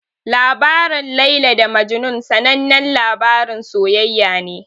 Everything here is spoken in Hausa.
Labarin Laila da Majnun sanannen labarin soyayya ne.